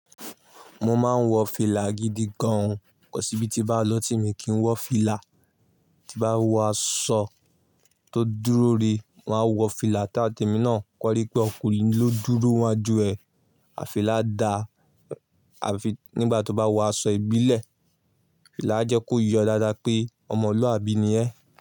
Mo máa ń wọ fìlà gidi gan o Kọ́ síbí tí n bá lòtí mi kì í wọ̀ fìlà. Tí bá wọ aṣọ tó dúró rí, màá wọ fìlà táa tẹ́mi náà kọ́rí pé ọkùnrin ló dúró wá ju ẹ. Àh fila daa nígbà tó bá wọ aṣọ ìbílẹ̀, fìlà a jẹ́ kó yọ dáadáa pé ọmọlúàbí ni ẹ́